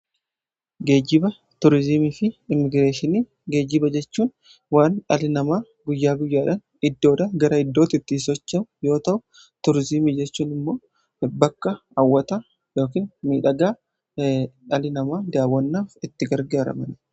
Geejiba, Turiizimii fi Immigireeshinii geejibaa jechuun waan dhalli namaa guyyaa guyyaadhaan iddoodhaa gara iddootti ittiin socho'u yoota'u; Turiizimii jechuun immoo bakka hawwata ykn miidhagaa dhalli namaa daawwannaaf itti gargaaramudha.